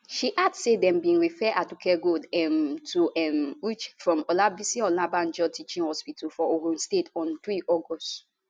she add say dem bin refer aduke gold um to um uch from olabisi onabanjo teaching hospital for ogun state on 3 august